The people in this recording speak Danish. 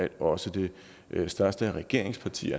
at også det største regeringsparti